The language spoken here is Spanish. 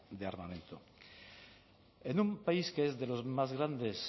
de armamento en un país que es de los más grandes